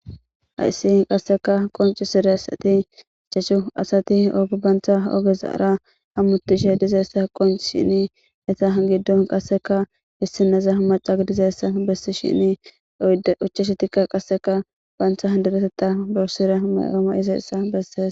Hayssi qasseka qonccissidassathi ichchashu asathi oge banththa ogezaara hamoththishe dizayssa qonccissini etha giddon qasseka issinoza macca gidizayssa bessishiini ichchashathikka qassika banththa deretheththaa bessira maa7o ma7izayssa bessees.